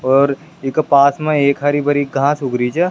और ईका पास मा एक हरी भरी घास उग री छे।